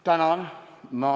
Tänan!